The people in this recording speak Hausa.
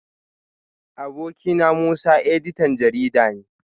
Abokina Musa editan jarida ne